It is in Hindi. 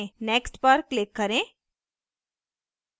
next पर click करें